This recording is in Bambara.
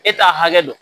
E t'a hakɛ dɔn